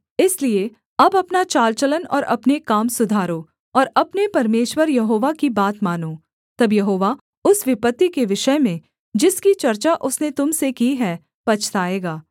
इसलिए अब अपना चाल चलन और अपने काम सुधारो और अपने परमेश्वर यहोवा की बात मानो तब यहोवा उस विपत्ति के विषय में जिसकी चर्चा उसने तुम से की है पछताएगा